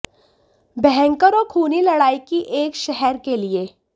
भयंकर और खूनी लड़ाई की एक शहर के लिए